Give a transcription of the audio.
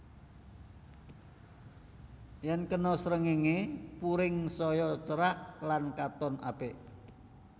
Yen kena srengéngé puring saya cerah lan katon apik